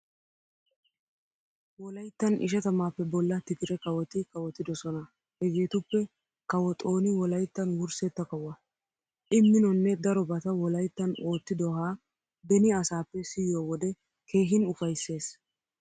Wolayttan ishatamaappe bolla tigire kawoti kawotidosona hegeetuppe kawo Xooni wolayttan wurssetta kawuwa. I minonne darobata wolayttan ottidoohaa beni asaappe siyiyo wode keehin ufaysses.